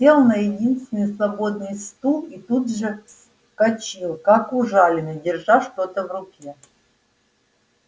сел на единственный свободный стул и тут же вскочил как ужаленный держа что-то в руке